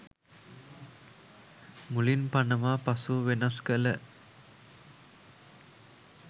මුලින් පනවා පසුව වෙනස් කළ